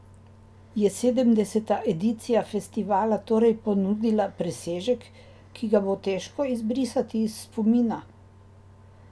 Je sedemdeseta edicija festivala torej ponudila presežek, ki ga bo težko izbrisati iz spomina?